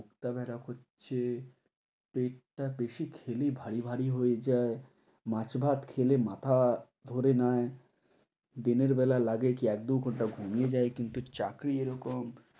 বুকটা ব্যথা করছে, পেটটা বেশি খেলেই ভারী ভারী হয়ে যায়, মাছ ভাত খেলে মাথা ধরে নেয়, দিনের বেলা লাগে কি এক দু ঘণ্টা ঘুমিয়ে যাই কিন্তু চাকরি এরকম,